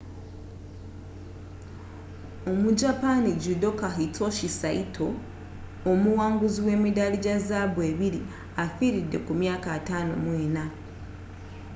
omujapani judoka hitoshi saito omuwanguzi w’emidaali gya zaabu ebiri, afiiridde ku myaka 54